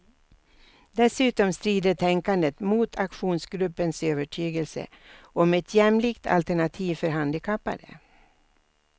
Dessutom strider tänkandet mot aktionsgruppens övertygelse om ett jämlikt alternativ för handikappade.